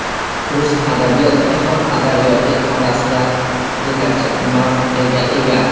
Rus adabiyot jahon adabiyoti orasida yetakchi mavqega ega.